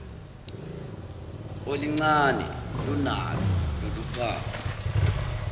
olincane lunalo loluphawu